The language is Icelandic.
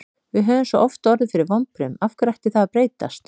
Við höfum svo oft orðið fyrir vonbrigðum, af hverju ætti það að breytast?